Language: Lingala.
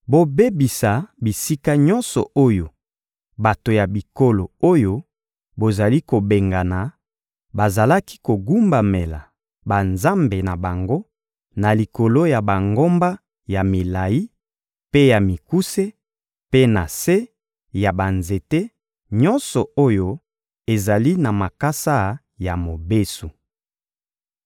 Bobebisa bisika nyonso oyo bato ya bikolo oyo bozali kobengana bazalaki kogumbamela banzambe na bango na likolo ya bangomba ya milayi mpe ya mikuse mpe na se ya banzete nyonso oyo ezali na makasa ya mobesu.